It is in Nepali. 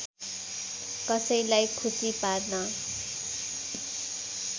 कसैलाई खुसी पार्न